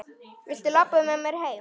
Viltu labba með mér heim?